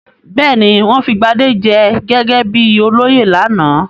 Bẹ́ẹ̀ ni, wọ́n fi Gbadé jẹ gẹ́gẹ́ bí olóyè lánàá.